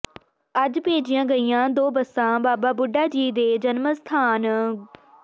ਅੱਜ ਭੇਜੀਆਂ ਗਈਆਂ ਦੋ ਬੱਸਾਂ ਬਾਬਾ ਬੁੱਢਾ ਜੀ ਦੇ ਜਨਮ ਅਸਥਾਨ ਗੁ